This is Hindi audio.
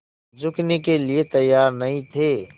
झुकने के लिए तैयार नहीं थे